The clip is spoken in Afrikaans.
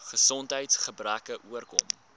gesondheids gebreke oorkom